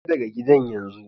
Fita daga gidan yanzu!